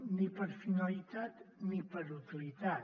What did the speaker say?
ni per finalitat ni per utilitat